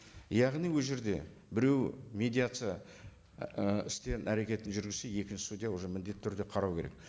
яғни ол жерде біреуі медиация і істер әрекетін жүргізсе екінші судья уже міндетті түрде қарау керек